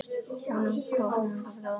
Önnum köfnum líður mér best.